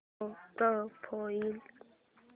show profile